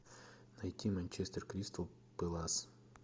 найти манчестер кристал пэлас